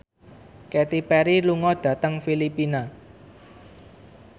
Katy Perry lunga dhateng Filipina